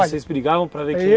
Aí vocês brigavam para ver